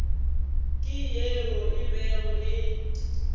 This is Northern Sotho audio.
ke yeo e bego e